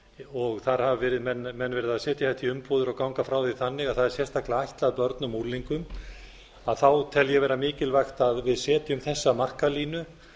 og þar hafa menn verið að setja þetta í umbúðir og ganga frá því þannig að það er sérstaklega ætlað börnum og unglingum tel ég vera mikilvægt að við setjum þessa markalínu